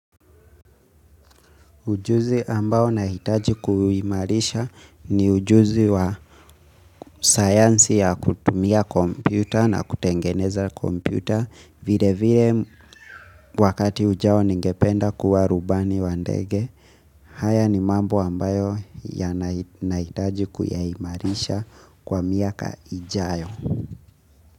Ujuzi ambayo nahitaji kuimarisha ni ujuzi wa sayansi ya kutumia kompyuta na kutengeneza kompyuta vile vile wakati ujao ningependa kuwa rubani wa ndege. Haya ni mambo ambayo ya nahitaji kuyaimarisha kwa miaka ijayo.